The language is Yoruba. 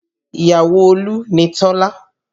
Ìyàwó Olú ni Tọ́lá